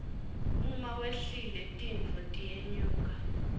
uma wehlile tintfo tiyenyuka